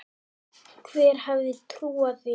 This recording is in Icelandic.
Hver hefði trúað því??